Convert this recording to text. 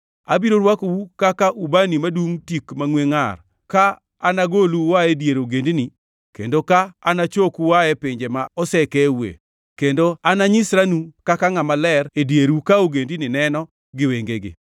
Abiro rwakou kaka ubani madungʼ tik mangʼwe ngʼar ka anagolu ua e dier ogendini kendo ka anachoku ua e pinje ma osekeue, kendo ananyisranu kaka ngʼama ler e dieru ka ogendini neno gi wengegi.